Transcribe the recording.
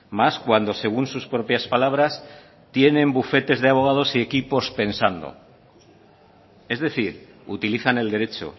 más cuando según sus propias palabras tienen bufetes de abogados y equipos pensando es decir utilizan el derecho